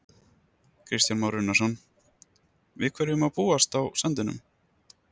Kristján Már Unnarsson: Við hverju má búast á sandinum?